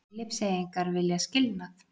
Filippseyingar vilja skilnað